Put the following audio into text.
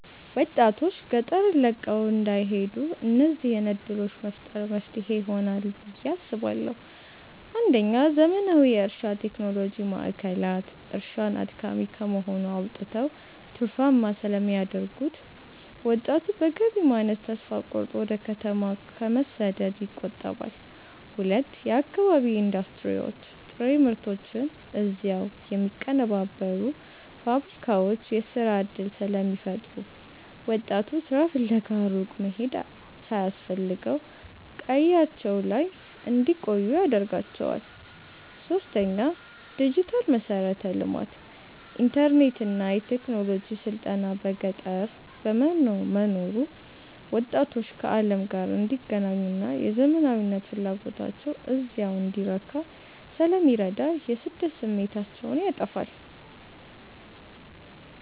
ወጣቶች ገጠርን ለቀው እንዳይሄዱ እነዚህን ዕድሎች መፍጠር መፍትሄ ይሆናል ብየ አስባለሁ ፩. ዘመናዊ የእርሻ ቴክኖሎጂ ማዕከላት፦ እርሻን አድካሚ ከመሆን አውጥተው ትርፋማ ስለሚያደርጉት፣ ወጣቱ በገቢ ማነስ ተስፋ ቆርጦ ወደ ከተማ ከመሰደድ ይቆጠባል። ፪. የአካባቢ ኢንዱስትሪዎች፦ ጥሬ ምርቶችን እዚያው የሚያቀነባብሩ ፋብሪካዎች የሥራ ዕድል ስለሚፈጥሩ፣ ወጣቱ ሥራ ፍለጋ ሩቅ መሄድ ሳያስፈልገው ቀያቸው ላይ እንዲቆዩ ያደርጋቸዋል። ፫. ዲጂታል መሠረተ ልማት፦ ኢንተርኔትና የቴክኖሎጂ ስልጠና በገጠር መኖሩ ወጣቶች ከዓለም ጋር እንዲገናኙና የዘመናዊነት ፍላጎታቸው እዚያው እንዲረካ ስለሚረዳ የስደት ስሜታቸውን ያጠፋዋል።